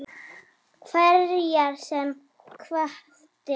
Hverjar sem hvatir